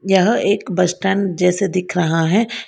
यह एक bus stand जैसे दिख रहा है।